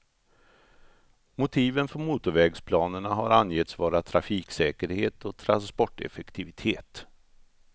Motiven för motorvägsplanerna har angetts vara trafiksäkerhet och transporteffektivitet.